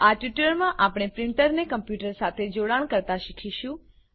આ ટ્યુટોરીયલમાં આપણે પ્રીંટરને કમ્પ્યુટર સાથે જોડાણ કરતા શીખીશું